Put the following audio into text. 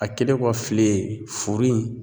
A kɛlen kɔ file ye, furu in